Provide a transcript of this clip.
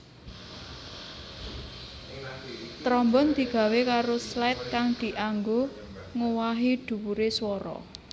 Trombon digawé karo slide kang dianggo ngowahi dhuwure swara